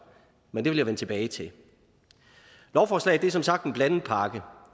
men det vil jeg vende tilbage til lovforslaget er som sagt en blandet pakke